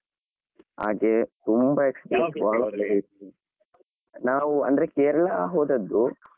ಹಾಗೆ ತುಂಬಾ experience . ನಾವು ಅಂದ್ರೆ ಕೇರಳ ಹೋದದ್ದು. ನಾವು ಅಂದ್ರೆ ಕೇರಳ ಹೋದದ್ದು.